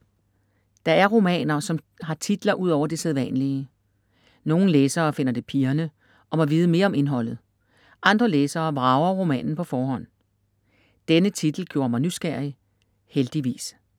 Der er romaner som har titler ud over det sædvanlige. Nogle læsere finder det pirrende og må vide mere om indholdet, andre læsere vrager romanen på forhånd. Denne titel gjorde mig nysgerrig. Heldigvis.